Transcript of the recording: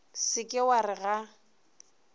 se ke wa re ga